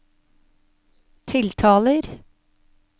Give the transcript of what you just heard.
tiltaler